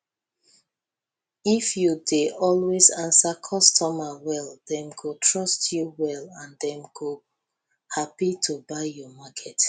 if you dey always answer customer well dem go trust you well and dem go happi to buy your market